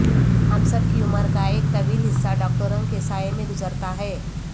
ہم سب کی عمر کا ایک طویل حصہ ڈاکٹروں کے سائے میں گزرتا ہے